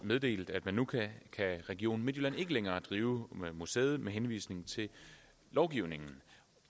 meddelt at nu kan region midtjylland ikke længere drive museet med henvisning til lovgivningen